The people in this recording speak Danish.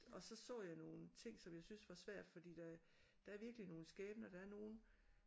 Og så så jeg nogle ting som jeg syntes var svært for der der er virkelig nogle skæbner der er nogle